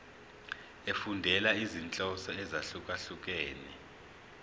efundela izinhloso ezahlukehlukene